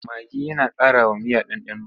Magi yana ƙarawa miya ɗanɗano.